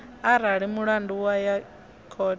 arali mulandu wa ya khothe